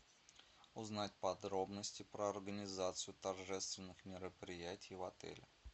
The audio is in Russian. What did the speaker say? узнать подробности про организацию торжественных мероприятий в отеле